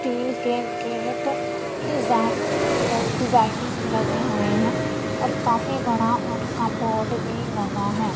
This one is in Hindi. तिल के गेट डिजाइन डिजाइनिंग लगे हुए हैं और काफी बड़ा और कमोड भी लगा है।